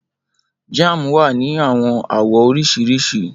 Jam wa Ni awọn awọ oriṣiriṣi